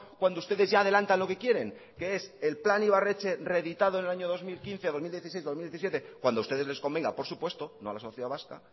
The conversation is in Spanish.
cuando ustedes ya adelantan lo que quieren que es el plan ibarretxe reeditado en el año dos mil quince dos mil dieciséis dos mil diecisiete cuando ustedes les convengan por supuesto no a la sociedad vasca